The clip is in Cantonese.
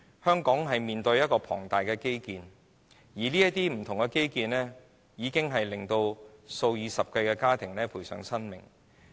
香港正進行多項龐大基建項目，已令數以十計的家庭喪失家庭成員。